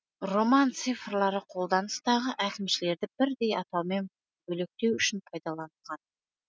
роман цифрлары қолданыстағы әкімшілерді бірдей атаумен бөлектеу үшін пайдаланылған